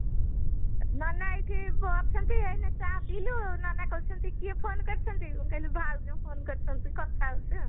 ନାନା ଏଇଠି ଅଛନ୍ତି ଏଇନା ଚା ପିଇଲୁ ନନା କହିଛନ୍ତି କିଏ phone କରିଛନ୍ତି ମୁଁ କହିଲି ଭାଉଜ phone କରିଛନ୍ତି କଥା ହଉଛି